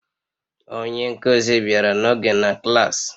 Onye nkuzi bịara n'oge na klas